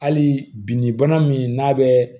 Hali bi ni bana min n'a bɛ